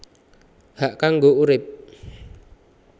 Hak kanggo urip